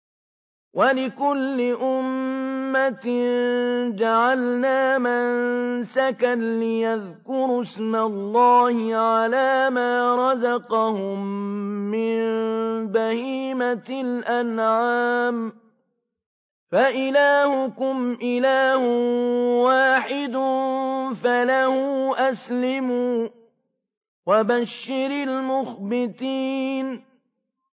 وَلِكُلِّ أُمَّةٍ جَعَلْنَا مَنسَكًا لِّيَذْكُرُوا اسْمَ اللَّهِ عَلَىٰ مَا رَزَقَهُم مِّن بَهِيمَةِ الْأَنْعَامِ ۗ فَإِلَٰهُكُمْ إِلَٰهٌ وَاحِدٌ فَلَهُ أَسْلِمُوا ۗ وَبَشِّرِ الْمُخْبِتِينَ